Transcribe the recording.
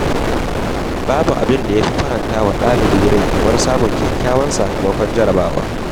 Babu abin da ya fi faranta wa ɗalibi rai kamar samun kyakkyawan sakamakon jarrabawa.